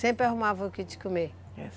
Sempre arrumava o que de comer?